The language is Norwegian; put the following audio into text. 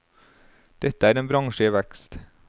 Dette er en bransje i vekst.